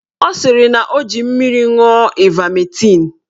Ọ sịrị na ọ ji mmiri ṅụọ ivametịn.